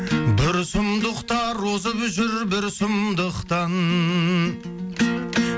бір сұмдықтар озып жүр бір сұмдықтан